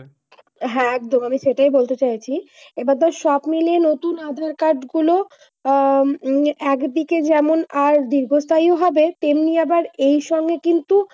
হ্যাঁ একদম আমি সেটাই বলতে চাইছি। এবার তোর সবমিলিয়ে নতুন আধার-কার্ড গুলো আহ একদিকে যেমন দীর্ঘস্থায়ী হবে। তেমনি আবার এই সঙ্গে কিন্তু,